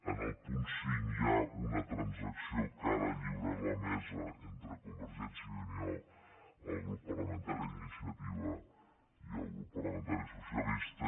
en el punt cinc hi ha una transacció que ara lliuraré a la mesa entre convergència i unió el grup parlamentari d’iniciativa i el grup parlamentari socialista